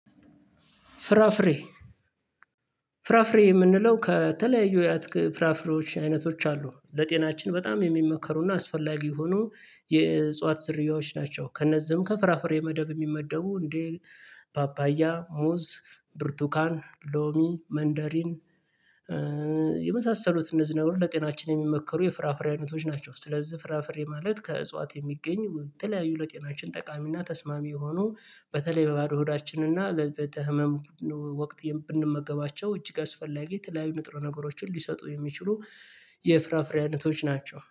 ፍራፍሬ ፍራፍሬ የምንለው ከተለያዩ የአትክ ፍራፍሬዎች አይነቶች አሉ ለጤናችን በጣም የሚመከሩ እና አስፈላጊ የሆኑ የእጽዋት ዝርያዎች ናቸው። ከነዚህም ከፍራፍሬ መደብ የሚመደቡ እንዴ ፓፓያ ሙዝ ብርቱካን ሎሚ መንደሪን የመሳሰሉት እነዚህ ነገሮች ለጤናችን የሚመከሩ የፍራፍሬ አይነቶች ናቸው። ስለዚህ ፍራፍሬ ማለት ከእጽዋት የሚገኝ የተለያዩ ለጤናችን ጠቃሚና ተስማሚ የሆኑ በተለይ በባዶ ሆዳችን እና ለ በተ ህመም ወቅት ብንመገባቸው እጅግ አስፈላጊ የተለያዩ ንጥሩ ነገሮችን ሊሰጡ የሚችሉ የፍራፍሬ አይነቶች ናቸው